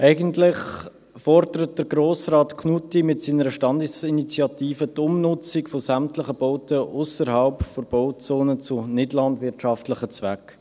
Eigentlich fordert Grossrat Knutti mit seiner Standesinitiative die Umnutzung von sämtlichen Bauten ausserhalb der Bauzone zu nichtlandwirtschaftlichen Zwecken.